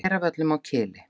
Hveravöllum á Kili.